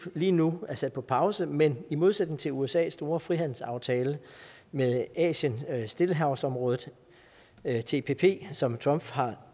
lige nu er sat på pause men i modsætning til usas store frihandelsaftale med asien stillehavsområdet tpp som trump har